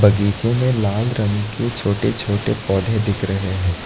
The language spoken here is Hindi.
बगीचे में लाल रंग के छोटे छोटे पौधे दिख रहे हैं।